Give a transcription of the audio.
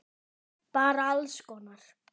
Bara alls konar.